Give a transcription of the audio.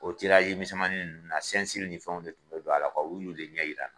O tirazi misɛnmani ninnu na sɛnsiri ni fɛnw de tun be don ala kuw u y'u de ɲɛ yira n na